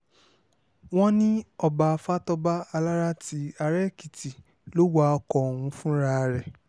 wọ́n ní ọba fatọ́ba alára ti ara-èkìtì ló wa ọkọ̀ ọ̀hún fúnra rẹ̀